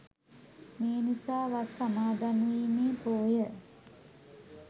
මේ නිසා වස් සමාදන්වීමේ පෝය